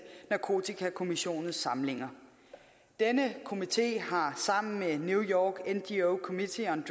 narkotikakommissionens samlinger denne komité har sammen med new york ngo committee on